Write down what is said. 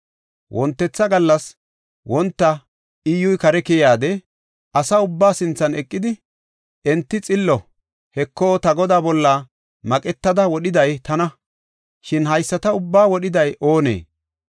Wontetha gallas wonta Iyyuy kare keyidi, asa ubbaa sinthan eqidi, “Hinte xillo; Heko, ta godaa bolla maqetada wodhiday tana. Shin haysata ubbaa wodhiday oonee?